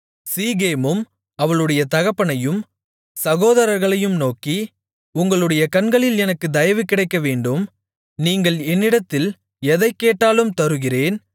சீகேமும் அவளுடைய தகப்பனையும் சகோதரர்களையும் நோக்கி உங்களுடைய கண்களில் எனக்கு தயவு கிடைக்கவேண்டும் நீங்கள் என்னிடத்தில் எதைக் கேட்டாலும் தருகிறேன்